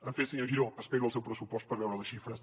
en fi senyor giró espero el seu pressupost per veure’n les xifres